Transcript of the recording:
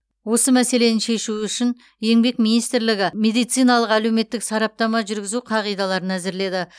осы мәселені шешу үшін еңбек министрлігі медициналық әлеуметтік сараптама жүргізу қағидаларын әзірледі